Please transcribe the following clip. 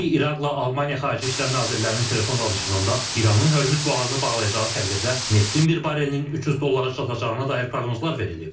Belə ki, İraqla Almaniya xarici İşlər Nazirlərinin telefon danışığında İranın Hörmüz boğazını bağlayacağı təqdirdə neftin bir barelinin 300 dollara çatacağına dair proqnozlar verilib.